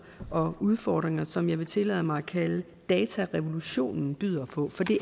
og udfordringer som det jeg vil tillade mig at kalde datarevolutionen byder på for det